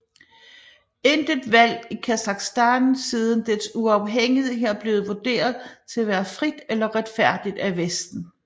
Intet valg i Kasakhstan siden dets uafhængighed er blevet vurderet til at være frit eller retfærdigt af Vesten